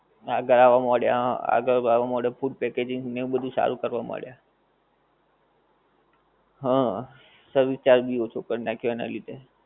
હા ગળા માં મળે આગળ જાવા મળ્યા food packaging ને આવું બધું સારું કરવા મળ્યા, હા service charge ભી ઓછો કર નાખ્યું એના લીધે